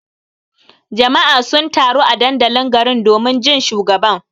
Jama'a sun taru a dandalin garin domin jin shugaban.